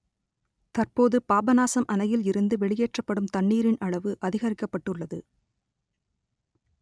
தற்போது பாபநாசம் அணையில் இருந்து வெளியேற்றப்படும் தண்ணீரின் அளவு அதிகரிக்கப்பட்டுள்ளது